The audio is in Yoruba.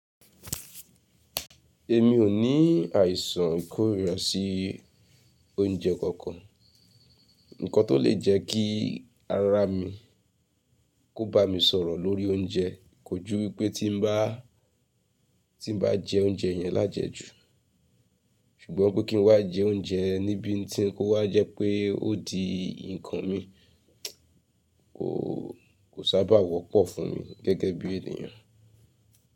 Èmi ò ní àìsàn ìkórira sí oúnjẹ kankan. Ǹkan tó lè jẹ kí ara mi kó ba mi sọ̀rọ̀ lórí oúnjẹ kò jú wípé tí n bá, tí n bá jẹ oúnjẹ yẹn lájẹ jú. Ṣùgbọ́n pé kí n wá jẹ oúnjẹ níbi tí n kó wá jẹ́ pé ó di nǹkan mi, ò, kò sábà wọ́pọ̀ fún mi gẹ́gẹ́ bí ènìyàn.